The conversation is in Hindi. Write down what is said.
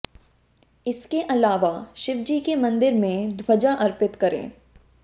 इसके अलावा शिव जी के मंदिर में ध्वजा अर्पित करें